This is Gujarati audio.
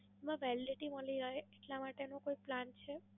મેડમ Validity મળી જાય એટલા માટેનો કોઈ Plan છે?